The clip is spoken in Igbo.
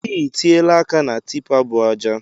I tiela aka na tipa bu aja.